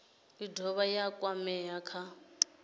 i dovha ya kwamea kha